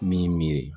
Min miiri